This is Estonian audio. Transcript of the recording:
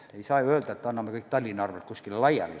Samas ei saa ju öelda, et anname kõik Tallinna arvel kuskile laiali.